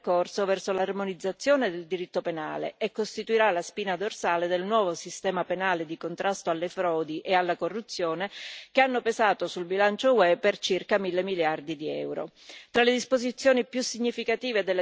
rappresenta una tappa fondamentale del percorso verso l'armonizzazione del diritto penale e costituirà la spina dorsale del nuovo sistema penale di contrasto alle frodi e alla corruzione, che hanno pesato sul bilancio UE per circa mille miliardi di euro.